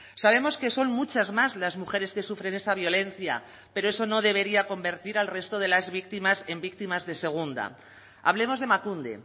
sabemos que son muchas más las mujeres que sufren esa violencia pero eso no debería convertir al resto de las víctimas en víctimas de segunda hablemos de emakunde